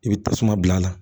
I bɛ tasuma bila a la